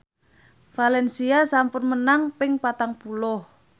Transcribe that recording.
valencia sampun menang ping patang puluh